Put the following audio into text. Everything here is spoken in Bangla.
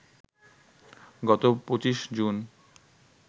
গত ২৫ জুন